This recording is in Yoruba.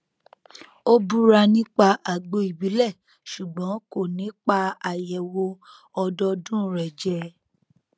ó búra nípa àgbo ìbílẹ ṣùgbọn kò ní pa àyẹwò ọdọọdún rẹ jẹ